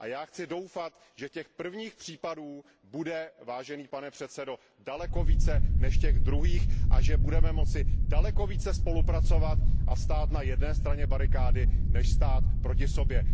A já chci doufat, že těch prvních případů bude, vážený pane předsedo, daleko více než těch druhých a že budeme moci daleko více spolupracovat a stát na jedné straně barikády, než stát proti sobě.